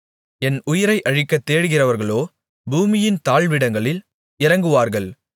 என் உயிரை அழிக்கத் தேடுகிறவர்களோ பூமியின் தாழ்விடங்களில் இறங்குவார்கள்